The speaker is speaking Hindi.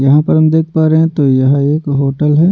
यहाँ पर हम देख पा रहे हैं तो यहाँ एक होटल है।